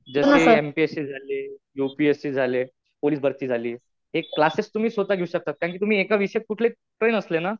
जसे M P S C झाले. U P S C झाले. पोलीस भरती झाली. हे क्लासेस तुम्ही स्वतः घेऊ शकता. कारण कि तुम्ही एका विषयात कुठल्याही ट्रेन असले ना,